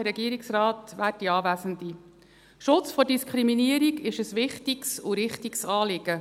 Der Schutz vor Diskriminierung ist ein wichtiges und richtiges Anliegen.